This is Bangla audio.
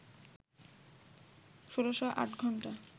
১৬০৮ ঘণ্টা